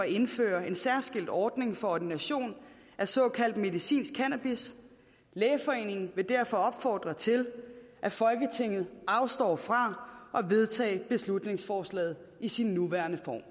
indføre en særskilt ordning for ordination af såkaldt medicinsk cannabis lægeforeningen vil derfor opfordre til at folketinget afstår fra at vedtage beslutningsforslaget i sin nuværende form